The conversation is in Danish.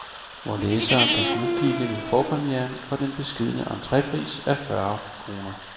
Vore læsere kan smugkigge ved forpremieren for den beskedne entrepris af fyrre kroner.